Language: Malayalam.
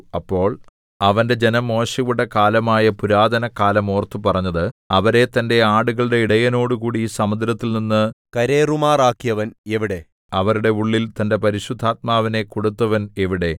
അപ്പോൾ അവന്റെ ജനം മോശെയുടെ കാലമായ പുരാതന കാലം ഓർത്തു പറഞ്ഞത് അവരെ തന്റെ ആടുകളുടെ ഇടയനോടുകൂടി സമുദ്രത്തിൽനിന്നു കരേറുമാറാക്കിയവൻ എവിടെ അവരുടെ ഉള്ളിൽ തന്റെ പരിശുദ്ധാത്മാവിനെ കൊടുത്തവൻ എവിടെ